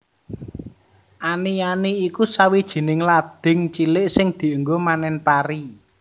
Ani ani iku sawijining lading cilik sing dienggo manen pari